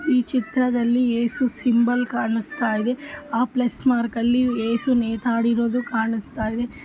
ಈ ಚಿತ್ರದಲ್ಲಿ ಯೇಸು ಸಿಂಬಲ್ ಕಾಣಿಸ್ತಾ ಇದೆ ಆ ಪ್ಲಸ್ ಮಾರ್ಕ್ ಅಲ್ಲಿ ಯೇಸು ನೇತಾಡಿರೋದನ್ನು ಕಾಣಿಸ್ತಾ ಇದೆ.